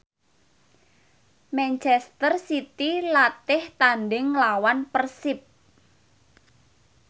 manchester city latih tandhing nglawan Persib